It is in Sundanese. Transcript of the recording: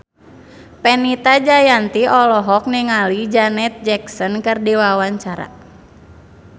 Fenita Jayanti olohok ningali Janet Jackson keur diwawancara